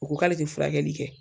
O ko k'ale te furakɛli kɛ.